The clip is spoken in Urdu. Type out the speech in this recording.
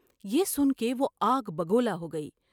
یہ سن کے وہ آگ بگولا ہوگئی ۔